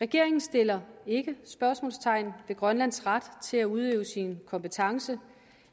regeringen sætter ikke spørgsmålstegn ved grønlands ret til at udøve sin kompetence